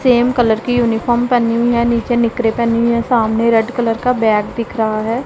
Same colour की uniform पहनी हुई है नीचे निकरे पहनी हुई है सामने रेड कलर का बैग दिख रहा है।